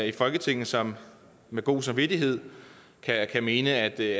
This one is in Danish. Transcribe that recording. i folketinget som med god samvittighed kan mene at det